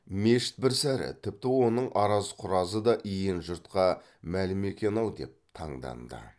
мешіт бір сәрі тіпті оның араз құразы да иен жұртқа мәлім екен ау деп таңданды